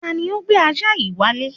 Tani ó gbé ajá yìí wálé?